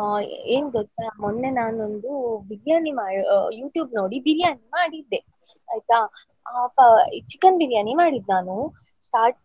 ಆ ಏನ್ ಗೊತ್ತಾ ಮೊನ್ನೆ ನಾನೊಂದು biryani ಆ YouTube ನೋಡಿ biryani ಮಾಡಿದ್ದೆ ಆಯ್ತಾ chicken biryani ಮಾಡಿದ್ದು ನಾನು start